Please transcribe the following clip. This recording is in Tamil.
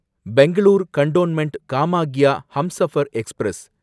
Bangalore cantonment Kamakhya Humsafar express